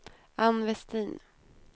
Ann Vestin